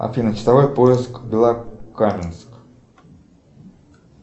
афина часовой пояс белокаменск